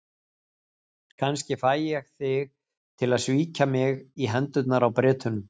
Kannski fæ ég þig til að svíkja mig í hendurnar á Bretunum.